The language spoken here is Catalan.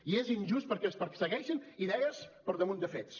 i és injust perquè es persegueixen idees per damunt de fets